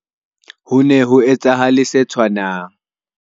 Ho ne ho etsahale se tshwanang